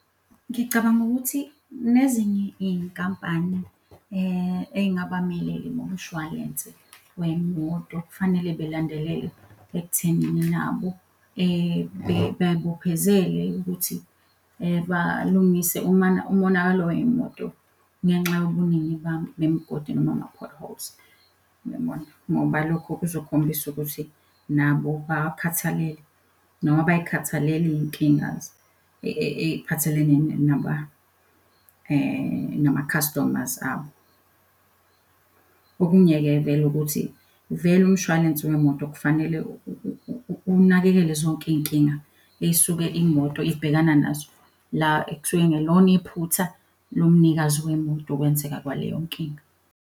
Ngicabanga ukuthi nezinye iy'nkampani ey'ngabamele-ke ngomshwalense wey'moto kufanele belandelele ekuthenini nabo bey'bophezele ukuthi balungise umonakalo wey'moto ngenxa yobuningi bemigodi noma ama-potholes, uyabona? Ngoba lokho kuzokhombisa ukuthi nabo bawakhathale noma bay'khathalele iy'nkinga ey'phathelene nama-customers abo. Okungeke vele ukuthi vele umshwalense wemoto kufanele unakekele zonke iy'nkinga ey'suke imoto ibhekana nazo, la ekusuke kungelona iphutha lomnikazi wemoto ukwenzeka kwaleyo nkinga.